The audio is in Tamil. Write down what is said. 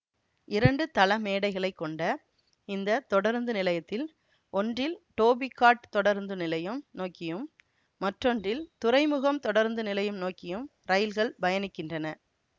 இரண்டு தளமேடைகளை கொண்ட இந்த தொடருந்து நிலையத்தில் ஒன்றில் டோபி காட் தொடருந்து நிலையம் நோக்கியும் மற்றொன்றில் துறைமுகம் தொடருந்து நிலையம் நோக்கியும் ரயில்கள் பயணிக்கின்றன